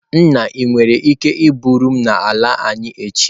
Nna, ị nwere ike iburu m n'ala anyi echi?